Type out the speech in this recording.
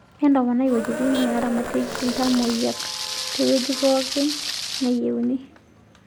Entoponai wuejitin neeramatieki iltamoyiak teweuji pookin neyienoi.